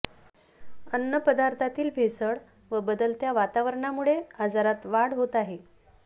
अन्नपदार्थातील भेसळ व बदलत्या वातावरणामुळे आजारांत वाढ होत आहे